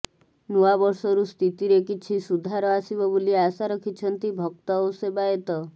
ନୂଆବର୍ଷରୁ ସ୍ଥିତିରେ କିଛି ସୁଧାର ଆସିବ ବୋଲି ଆଶା ରଖିଛନ୍ତି ଭକ୍ତ ଓ ସେବାୟତ